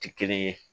Ti kelen ye